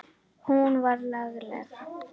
Hún var lagleg.